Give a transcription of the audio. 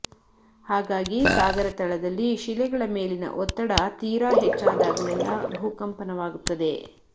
ಹಾಗಾಗಿ ಸಾಗರ ತಳದಲ್ಲಿ ಶಿಲೆಗಳ ಮೇಲಿನ ಒತ್ತಡ ತೀರ ಹೆಚ್ಚಾದಾಗಲೆಲ್ಲ ಭೂಕಂಪನವಾಗುತ್ತದೆ